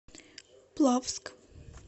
плавск